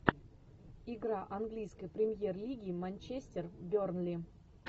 игра английской премьер лиги манчестер бернли